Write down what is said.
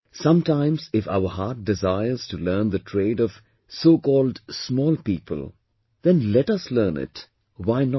Sometimes if our heart desires to learn the trade of so called 'small people' then let us learn it, why not